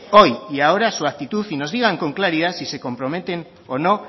hoy y ahora su actitud y nos digan con claridad si se comprometen o no